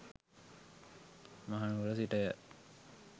මහනුවර සිටය.